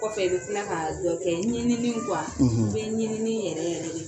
Kɔfɛ i bɛ tila ka dɔ kɛ ɲininiw kuwa i bɛ ɲinini yɛrɛ yɛrɛ de